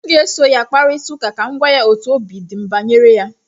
m ga-esoro ya kparịta ụka ka m gwa otú obi dị m banyere ya